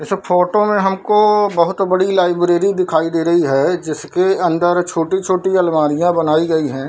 इस फोटो में हमको बहूत बड़ी लाइब्रेरी दिखाई दे रही है जिसके अंदर छोटी-छोटी अलमारियाँ बनाई गई है।